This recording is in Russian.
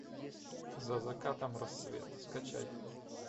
за закатом рассвет скачай